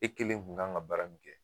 E kelen kun kan ka baara min kɛ.